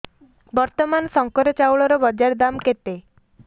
ବର୍ତ୍ତମାନ ଶଙ୍କର ଚାଉଳର ବଜାର ଦାମ୍ କେତେ